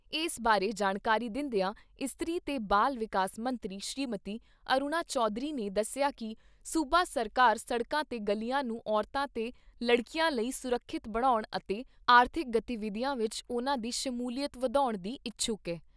ਇਸ ਬਾਰੇ ਜਾਣਕਾਰੀ ਦਿੰਦਿਆਂ ਇਸਤਰੀ ਤੇ ਬਾਲ ਵਿਕਾਸ ਮੰਤਰੀ ਸ੍ਰੀਮਤੀ ਅਰੁਣਾ ਚੌਧਰੀ ਨੇ ਦੱਸਿਆ ਕਿ ਸੂਬਾ ਸਰਕਾਰ ਸੜਕਾਂ ਤੇ ਗਲੀਆਂ ਨੂੰ ਔਰਤਾਂ ਤੇ ਲੜਕੀਆਂ ਲਈ ਸੁਰੱਖਿਅਤ ਬਣਾਉਣ ਅਤੇ ਆਰਥਿਕ ਗਤੀਵਿਧੀਆਂ ਵਿਚ ਉਨ੍ਹਾਂ ਦੀ ਸ਼ਮੂਲੀਅਤ ਵਧਾਉਣ ਦੀ ਇੱਛੁਕ ਐ।